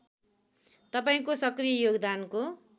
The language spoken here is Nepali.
तपाईँको सक्रिय योगदानको